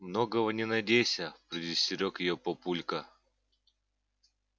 многого не надейся предостерёг её папулька